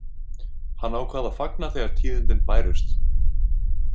Hann ákvað að fagna þegar tíðindin bærust.